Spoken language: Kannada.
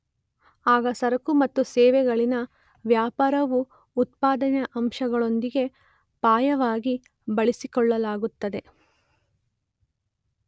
ಆಗ ಸರಕು ಮತ್ತು ಸೇವೆಗಳಲ್ಲಿನ ವ್ಯಾಪಾರವು ಉತ್ಪಾದನೆಯ ಅಂಶಗಳೊಂದಿಗೆ ಪರ್ಯಾಯವಾಗಿ ಬಳಸಿಕೊಳ್ಳಲಾಗುತ್ತದೆ.